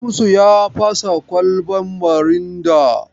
Shamsu ya fasa kwalaban mirinda.